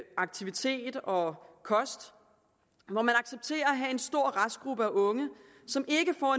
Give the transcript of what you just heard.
aktivitet og kost hvor man accepterer at have en stor restgruppe af unge som ikke får